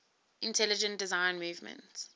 intelligent design movement